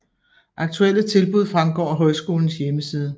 Aktuelle tilbud fremgår af højskolens hjemmeside